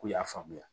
K'u y'a faamuya